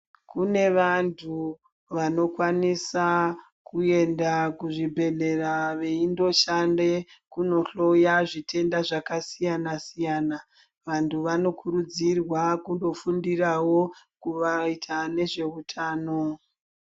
Kune vantu vanokwanisa kuenda kuzvibhedhlera veindoshande kunohloya zvitenda zvakasiyana -siyana. Vantu vanokurudzirwa kundofundirawo kuvaita nezveutano.